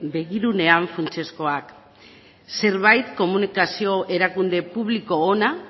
begirunean funtsezkoak zerbait komunikazio erakunde publiko ona